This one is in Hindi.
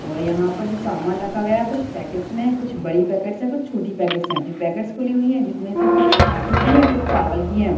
और यहा पर जो सामान रखा गया है कुछ पॅकेट्स मे कुछ बड़ी पॅकेट्स है कुछ छोटी पॅकेट्स है ये पॅकेट्स खुली हुई है जिसमे से कुछ आटे की है कुछ चावल की है।